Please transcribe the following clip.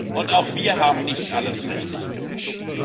Und auch wir haben nicht alles richtig gemacht.